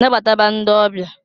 Nabataba ndị ọbịa!